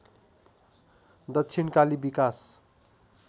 दक्षिणकाली विकास